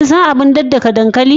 Kin san abar daddaka dankali?